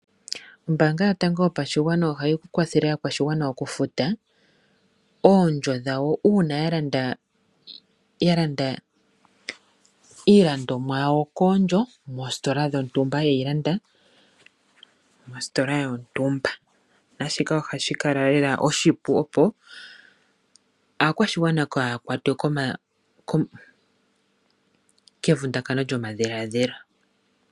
Ombaanga yotango yopashigwana ohayi kwathele aakwashigwana okufuta oondjo dhawo uuna ya landa iilandomwa yawo koondjo ye yi landa mositola yontumba. Naashika ohashi kala lela oshipu opo aakwashigwana kaya kwatwe kevundakano lyomadhiladhilo.